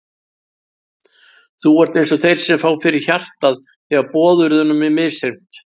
Þú ert einsog þeir sem fá fyrir hjartað þegar boðorðunum er misþyrmt.